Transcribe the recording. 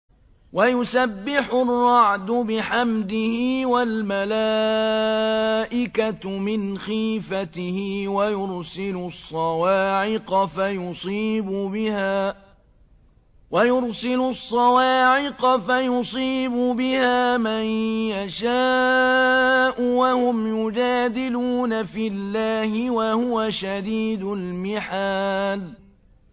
وَيُسَبِّحُ الرَّعْدُ بِحَمْدِهِ وَالْمَلَائِكَةُ مِنْ خِيفَتِهِ وَيُرْسِلُ الصَّوَاعِقَ فَيُصِيبُ بِهَا مَن يَشَاءُ وَهُمْ يُجَادِلُونَ فِي اللَّهِ وَهُوَ شَدِيدُ الْمِحَالِ